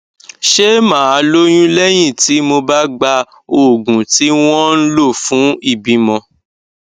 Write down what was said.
ṣé màá lóyún léyìn tí mo bá gba oògùn tí wón ń lò fún ìbímọ